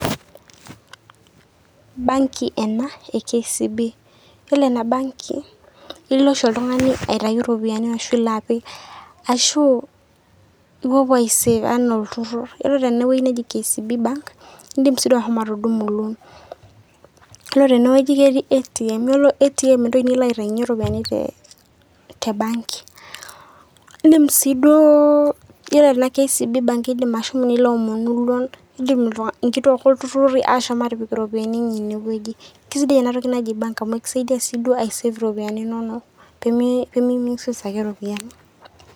Banki ena e KCB .yiolo ena banki naa ilo oshi oltungani aitayu iropiyiani ashu ipik, ashu ipuopuo ae save anaa olturrurr. yiolo tene wueji neji KCB bank indim si duo ashomo atudumu loan. ore tene wueji ketii ATM yiolo ATM entoki nilo aitayunyie iropiyiani te banki .indim si duo ore ena KCB bank indim nilo aomonu loan indim nkituaak oltururi ashomi atipik iropiyiani enye ine wueji. kisidai ena toki naji bank amu ekisaidia si duo ae save iropiyiani inono pemi misuse ake iropiyiani.